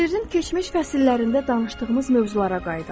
Sirrin keçmiş fəsillərində danışdığımız mövzulara qayıdaq.